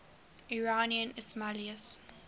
iranian ismailis